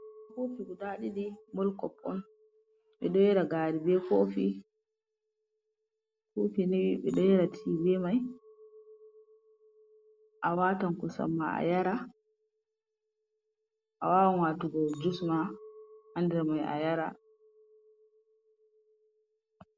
Koofi guda ɗiɗi, mul kop on. Ɓedo yara gaari be koofi. Koofi ni ɓe ɗo yara ti be mai, a waatan kosam ma ayara. A waawan waatugo jus ma haa nder mai a yara.